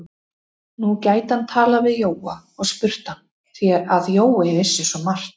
Nú gæti hann talað við Jóa og spurt hann, því að Jói vissi svo margt.